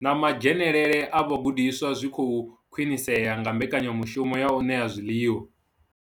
Na madzhenelele a vhagudiswa zwi khou khwinisea nga mbekanya mushumo ya u ṋea zwiḽiwa.